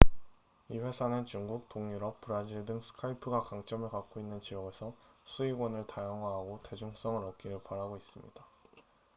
이 회사는 중국 동유럽 브라질 등 스카이프가 강점을 갖고 있는 지역에서 수익원을 다양화하고 대중성을 얻기를 바라고 있습니다